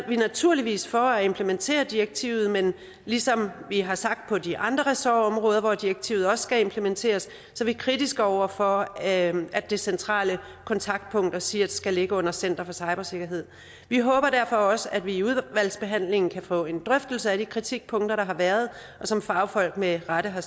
vi naturligvis for at implementere direktivet men ligesom vi har sagt på de andre ressortområder hvor direktivet også skal implementeres er vi kritiske over for at det centrale kontaktpunkt og csirt skal ligge under center for cybersikkerhed vi håber derfor også at vi i udvalgsbehandlingen kan få en drøftelse af de kritikpunkter der har været og som fagfolk med rette har